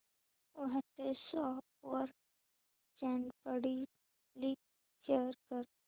WhatsApp वर Snapdeal link share कर